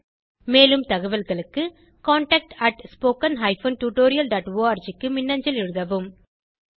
மேலும் தகவல்களுக்கு contactspoken tutorialorg க்கு மின்னஞ்சல் எழுதவும்